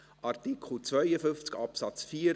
Artikel 52 Absatz 4